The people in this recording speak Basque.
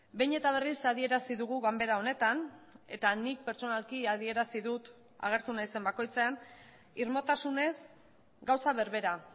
behin eta berriz adierazi dugu ganbera honetan eta nik pertsonalki adierazi dut agertu naizen bakoitzean irmotasunez gauza berbera